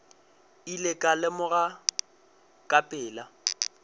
ile ka lemoga ka pela